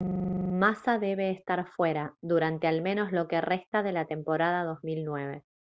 massa debe estar fuera durante al menos lo que resta de la temporada 2009